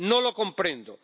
No lo comprendo.